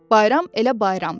Bayram elə bayramdır.